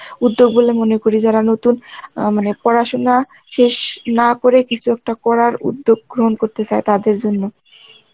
উদ্যোগগুলো মনে করি যারা নতুন অ্যাঁ মানে পড়াশোনা না করে টা করার উদ্যোগ গ্রহণ করতে চায় তাদের জন্য